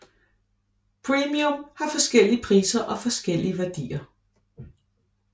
Premium har forskellige priser og forskellige værdier